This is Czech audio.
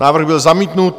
Návrh byl zamítnut.